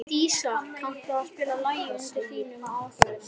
Dísa, kanntu að spila lagið „Undir þínum áhrifum“?